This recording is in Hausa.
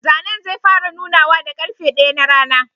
Zanen zai fara nunawa da karfe daya na rana.